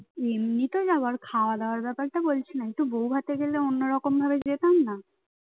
এমনিতে যাব আর খাওয়া দাওয়ার ব্যাপারটা বলছি না একটু বউভাতে গেলে অন্যরকম ভাবে যেতাম না